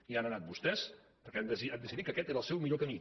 hi han anat vostès perquè han decidit que aquest era el seu millor camí